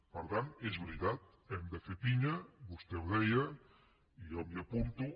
per tant és veritat hem de fer pinya vostè ho deia i jo m’hi apunto